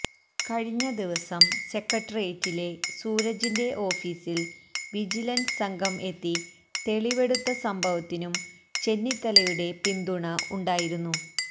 കഴിഞ്ഞ ദിവസം സെക്രട്ടേറിയറ്റിലെ സൂരജിന്റെ ഓഫീസിൽ വിജിലൻസ് സംഘം എത്തി തെളിവെടുത്ത സംഭവത്തിനും ചെന്നിത്തലയുടെ പിന്തുണ ഉണ്ടായിരുന്നു